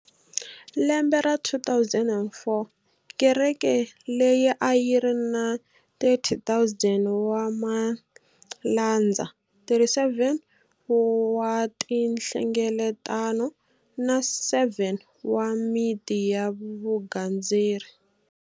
Lembe ra 2004, kereke leyi a yi ri na 30,000 wa malandza, 37 wa tinhlengeletano na 7 wa miti ya vugandzeri.